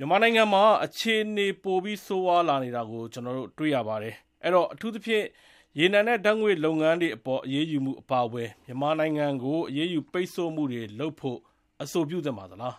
မြန်မာနိုင်ငံမှာ အခြေအနေတွေ ပိုပြီးဆိုးဝါးလာနေတာ ကျနော်တို့တွေ့နေရပါတယ်။ အဲတော့ အထူးသဖြင့် ရေနံနဲ့ဓါတ်ငွေ့လုပ်ငန်းတွေအပေါ် အရေးယူမှုအပါအဝင် မြန်မာနိုင်ငံကို အရေးယူပိတ်ဆို့မှုတွေ လုပ်ဖို့ အဆိုပြုသင့်ပါသလား။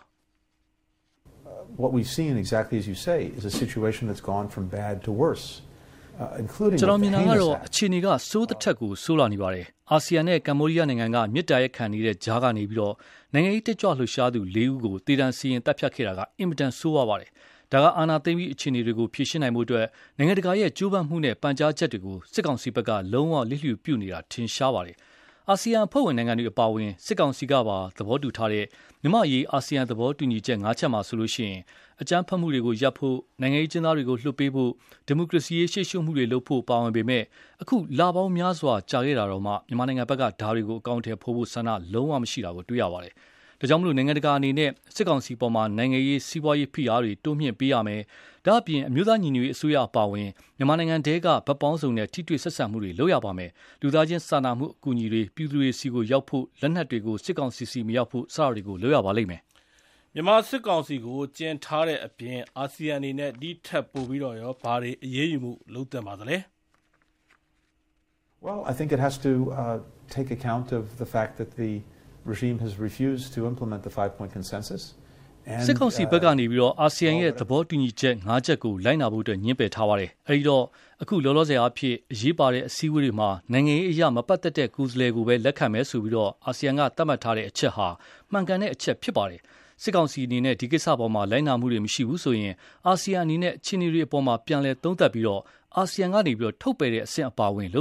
ကျနော်မြင်တာကတော့ အခြေအနေက ဆိုးသထက်ဆိုးလာနေပါတယ်။ အာဆီယံနဲ့ ကမ္ဘောဒီးယားနိုင်ငံက မေတ္တာရပ်ခံနေတဲ့ကြားက နိုင်ငံရေးတက်ကြွလှုပ်ရှားသူ လေးဦးကို သေဒဏ်စီရင်သတ်ဖြတ်ခဲ့တာ အင်မတန်ဆိုးပါတယ်။ ဒါက အာဏာသိမ်းပြီး အခြေအနေတွေကို ဖြေရှင်းနိုင်ဖို့အတွက် နိုင်ငံတကာရဲ့ကြိုးပမ်းမှုနဲ့ ပန်ကြားချက်တွေကို စစ်ကောင်စီက လုံးဝ လျစ်လျူပြုနေတာထင်ရှားပါတယ်။ အာဆီယံ အဖွဲ့ဝင်နိုင်ငံတွေအပါအဝင် စစ်ကောင်စီကပါ သဘောတူထားတဲ့ မြန်မာ့အရေး အာဆီယံသဘောတူညီချက် ၅ ချက်မှာဆိုရင် အကြမ်းဖက်မှုတွေရပ်ဖို့၊ နိုင်ငံရေးအကျဉ်းသားတွေ လွှတ်ပေးဖို့၊ ဒီမိုကရေစီရေးရှေ့ရှုမှုတွေ ပါဝင်ပေမယ့် အခုလပေါင်းများစွာကြာခဲ့တာတောင် မြန်မာဘက်က ဒါတွေကို အကောင်အထည်ဖော်ဖို့ဆန္ဒ လုံးဝမရှိတာကို တွေ့ရပါတယ်။ ဒါကြောင့်မို့လို နိုင်ငံတကာအနေနဲ့ စစ်ကောင်စီအပေါ် နိုင်ငံရေး၊ စီးပွားရေး ဖိအားတွေ တိုးမြှင့်ပေးရမယ်၊ ဒါ့အပြင် အမျိုးသားညီညွတ်ရေးအစိုးရအပါအဝင် မြန်မာနိုင်ငံထဲက ဘက်ပေါင်းစုံနဲ့ ထိတွေ့ဆက်ဆံမှုတွေလုပ်ရပါမယ်။ လူသားချင်းစာနာမှုအကူအညီတွေ ပြည်သူတွေဆီရောက်ဖို့၊ လက်နက်တွေ စစ်ကောင်စီဆီမရောက်ဖို့ စတာတွေ လုပ်ရပါမယ်။ မြန်မာစစ်ကောင်စီကို ကျဉ်ထားတဲ့အပြင် အာဆီယံအနေနဲ့ ဒီထက်ပိုပြီး ဘာတွေ အရေးယူမှုတွေလုပ်သင့်သလဲ။ စစ်ကောင်စီဘက်က အာဆီယံသဘောတူညီချက် ၅ ချက်ကို လိုက်နာဖို့ ငြင်းပယ်ထားပါတယ်။ အဲဒီတော့ အခု လောလောဆယ်အားဖြင့် အရေးပါတဲ့အစည်းအဝေးတွေမှာ နိုင်ငံရေးအရ မပတ်သက်တဲ့ ကိုယ်စားလှယ်ကိုပဲ လက်ခံမယ်လို့ သတ်မှတ်ထားတဲ့ အချက်ဟာ မှန်ကန်တဲ့အချက်ဖြစ်တယ်။ စစ်ကောင်စီအနေနဲ့ ဒီကိစ္စအပေါ် လိုက်နာမှုတွေမရှိဘူးဆိုရင် အာဆီယံအနေနဲ့ အခြေအနေတွေအပေါ် ပြန်သုံးသပ်ပြီး အာဆီယံကနေ ထုတ်ပယ်တဲ့အဆင့်အပါအဝင် လုပ်